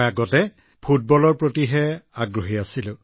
আগতে আমি ফুটবলৰ প্ৰতি বেছি আকৰ্ষিত আছিলো